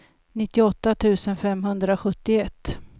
nittioåtta tusen femhundrasjuttioett